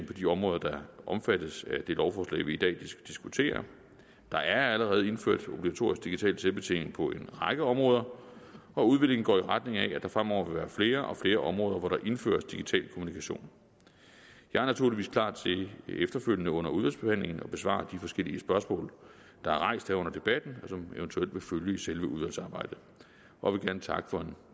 på de områder der omfattes af det lovforslag vi i dag diskuterer der er allerede indført obligatorisk digital selvbetjening på en række områder og udviklingen går i retning af at der fremover vil være flere og flere områder hvor der indføres digital kommunikation jeg er naturligvis klar til efterfølgende under udvalgsbehandlingen at besvare de forskellige spørgsmål der er rejst her under debatten som eventuelt vil følge i selve udvalgsarbejdet og vil gerne takke for en